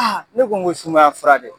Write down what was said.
Aa ne ko ko sumaya fura de don